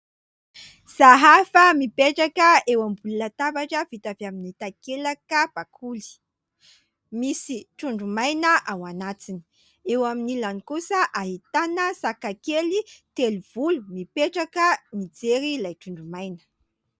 Sahafa mipetraka eo ambony latabatra vita avy amin'ny takelaka bakoly, misy trondro maina ao anatiny. Eo amin'ny ilany kosa, ahitana saka kely telovolo, mipetraka mijery ilay trondro maina.